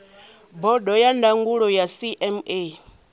bodo ya ndangulo ya cma